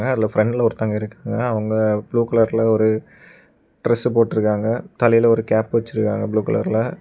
அதுல ஃப்ரண்ட்ல ஒருத்தவங்க இருக்காங்க அவங்க ப்ளூ கலர்ல ஒரு டிரஸ் போட்டுருக்காங்க தலையில ஒரு கேப் வச்சிருக்காங்க ப்ளூ கலர்ல .